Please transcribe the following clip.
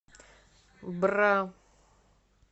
бра